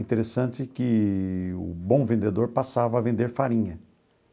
Interessante que o bom vendedor passava a vender farinha.